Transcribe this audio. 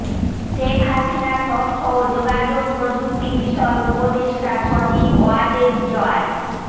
শেখ হাসিনার তথ্য ও যোগাযোগপ্রযুক্তি বিষয়ক উপদেষ্টা সজীব ওয়াজেদ জয়